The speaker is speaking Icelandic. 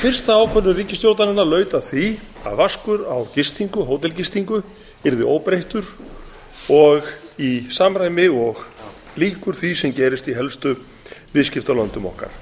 fyrsta ákvörðun ríkisstjórnarinnar laut að því að vaskur á hótelgistingu yrði óbreyttur og í samræmi og líkur því sem gerist í helstu viðskiptalöndum okkar